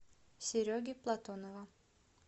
сереги платонова